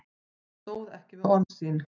Hann stóð ekki við orð sín.